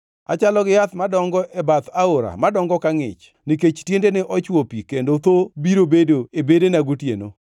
Achalo gi yath, madongo e bath aora madongo ka ngʼich nikech tiendene ochwo pi kendo thoo biro bedo e bedena gotieno.